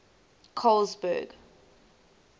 colesberg